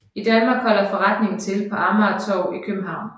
I Danmark holder forretningen til på Amagertorv i København